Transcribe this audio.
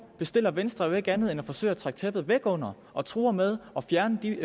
bestiller venstre jo ikke andet end at forsøge at trække tæppet væk under og truer med at fjerne de